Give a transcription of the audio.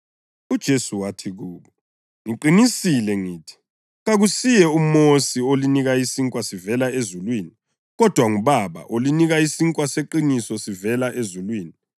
UJesu wathi kubo, “Ngiqinisile ngithi, kakusuye uMosi olinike isinkwa sivela ezulwini, kodwa nguBaba olinika isinkwa seqiniso sivela ezulwini.